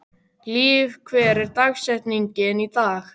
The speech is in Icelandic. Líf, hver er dagsetningin í dag?